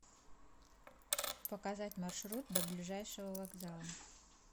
показать маршрут до ближайшего вокзала